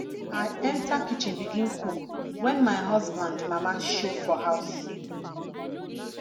i enta kitchen begin cook wen my husband mama show for house